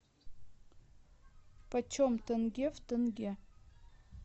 почем тенге в тенге